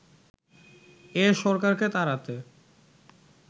এ সরকারকে তাড়াতে